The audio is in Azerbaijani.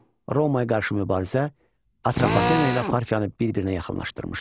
Romaya qarşı mübarizə Atropatena ilə Parfiyanı bir-birinə yaxınlaşdırmışdı.